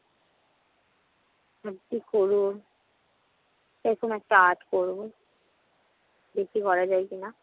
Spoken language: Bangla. ভাবছি করবো। এরকম একটা art করবো। দেখি করা যায় কিনা।